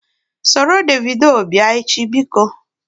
Soro Davido bịa echi! Biko